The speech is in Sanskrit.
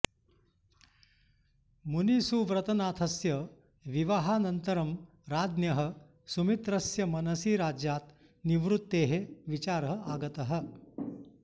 मुनिसुव्रतनाथस्य विवाहानन्तरं राज्ञः सुमित्रस्य मनसि राज्यात् निवृत्तेः विचारः आगतः